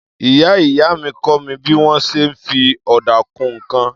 Ìyá-ìyá mi kọ́ mi bí wọ́n ṣe ń fi ọ̀dà kun nǹkan.